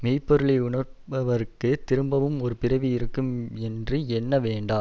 மெய் பொருளை உணர்பவருக்குத் திரும்பவும் ஒரு பிறவி இருக்கும் என்று எண்ண வேண்டா